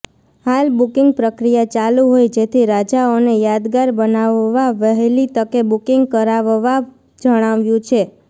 હાલ બુકીંગ પ્રક્રિયા ચાલુ હોય જેથી રજાઓને યાદગાર બનાવવા વહેલી તકે બુકીંગ કરાવવા જણાવાયું છે